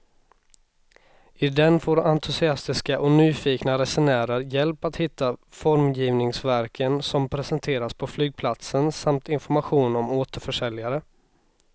I den får entusiastiska och nyfikna resenärer hjälp att hitta formgivningsverken som presenteras på flygplatsen samt information om återförsäljare.